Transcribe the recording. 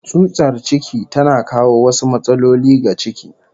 Tsutsar ciki tana kawo wasu matsaloli ga ciki